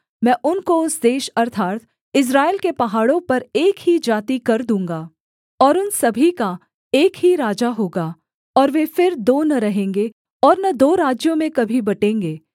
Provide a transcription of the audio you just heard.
मैं उनको उस देश अर्थात् इस्राएल के पहाड़ों पर एक ही जाति कर दूँगा और उन सभी का एक ही राजा होगा और वे फिर दो न रहेंगे और न दो राज्यों में कभी बटेंगे